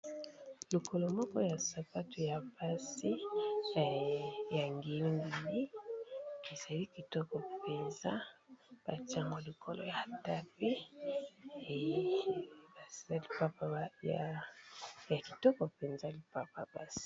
Lokolo moko ya sapatu ya basi ya ngeli ngeli, ezali kitoko mpenza batie yango likolo ya tapis pe ya kitoko mpenza lipapa basi.